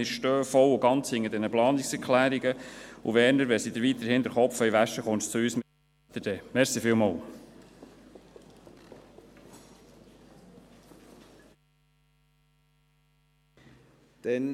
Wir stehen voll und ganz hinter diesen Planungserklärungen, und Werner Moser, wenn sie Ihnen weiterhin den Kopf waschen wollen, kommen Sie zu uns, wir helfen Ihnen dann.